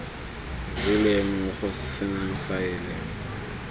rileng o go senang faele